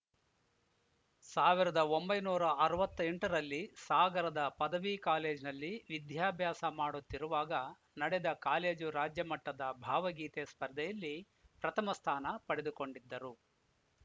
ಸಾವಿರದ ಒಂಬೈನೂರ ಅರವತ್ತ್ ಎಂಟು ರಲ್ಲಿ ಸಾಗರದ ಪದವಿ ಕಾಲೇಜಿನಲ್ಲಿ ವಿದ್ಯಾಭ್ಯಾಸ ಮಾಡುತ್ತಿರುವಾಗ ನಡೆದ ಕಾಲೇಜು ರಾಜ್ಯಮಟ್ಟದ ಭಾವಗೀತೆ ಸ್ಪರ್ಧೆಯಲ್ಲಿ ಪ್ರಥಮ ಸ್ಥಾನ ಪಡೆದುಕೊಂಡಿದ್ದರು